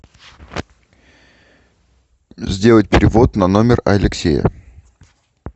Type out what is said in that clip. сделать перевод на номер алексея